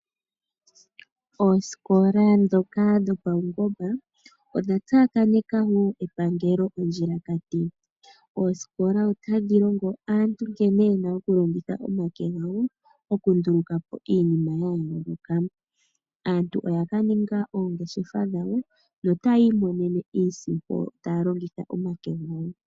Oosikola ndhoka dhopaungomba odha tsakaneka wo epangelo ondjilakati. Oosikola otadhi longo aantu nkene yena okulongitha omake gawo okunduluka po iinima ya yooloka. Aantu oya ka ninga oongeshefa dhawo, opo yi imonene iisimpo taya longitha omake gawo.